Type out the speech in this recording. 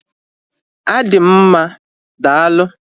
Adị m mma daalụ